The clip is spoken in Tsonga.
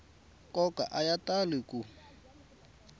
nkoka a ya tali ku